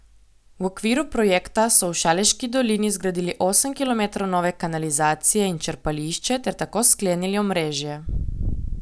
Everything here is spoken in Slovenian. V okviru projekta so v Šaleški dolini zgradili osem kilometrov nove kanalizacije in črpališče ter tako sklenili omrežje.